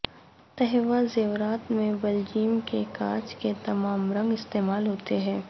تھیوا زیورات میں بیلجیم کے کانچ کے تمام رنگ استعمال ہوتے ہیں